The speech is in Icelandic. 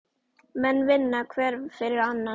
Menn vinna hver fyrir annan.